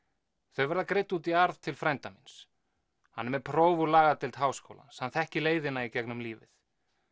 þau verða greidd út í arð til frænda míns hann er með próf úr lagadeild Háskólans hann þekkir leiðina í gegnum lífið